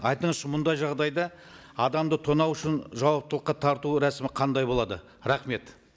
айтыңызшы мұндай жағдайда адамды тонау үшін жауаптылыққа тарту рәсімі қандай болады рахмет